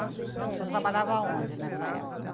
O senhor trabalhava onde nessa época?